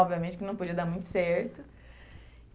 Obviamente que não podia dar muito certo.